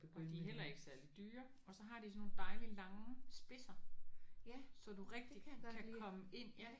Og de er heller ikke særlig dyre. Og så har de sådan nogle dejligt lange spidser så du rigtigt kan komme ind